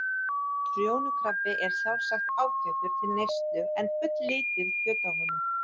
Trjónukrabbi er sjálfsagt ágætur til neyslu en fulllítið kjöt á honum.